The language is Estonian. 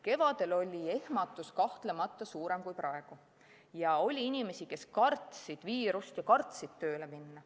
Kevadel oli ehmatus kahtlemata suurem kui praegu ja oli inimesi, kes kartsid viirust ja kartsid tööle minna.